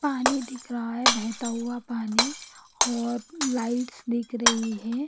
पानी दिख रहा है बहता हुआ पानी और लाइट्स दिख रही है।